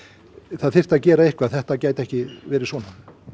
það þyrfti að gera eitthvað þetta gæti ekki verið svona